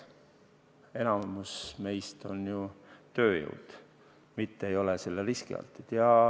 Enamik meist on ju tööjõud, me ei ole selle riski altid.